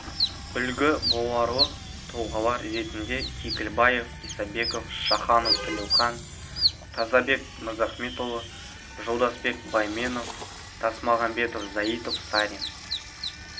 үлгі боларлық тұлғалар ретінде кекілбаев исабеков шаханов тілеухан тазабек мырзахметұлы жолдасбек байменов тасмағамбетов заитов сарин